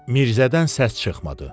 Mirzədən səs çıxmadı.